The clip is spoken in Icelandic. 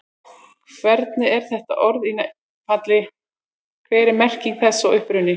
Hvernig er þetta orð í nefnifalli, hver er merking þess og uppruni?